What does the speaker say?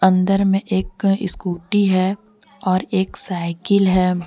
अंदर में एक स्कूटी है और एक साइकिल है।